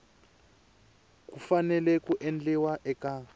ku fanele ku endliwa eka